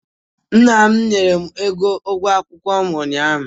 Nna m nyere m ego ụgwọ akwụkwọ m unyaah u.